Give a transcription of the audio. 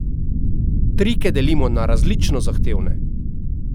Trike delimo na različno zahtevne.